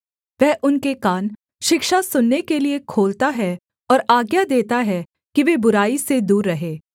वह उनके कान शिक्षा सुनने के लिये खोलता है और आज्ञा देता है कि वे बुराई से दूर रहें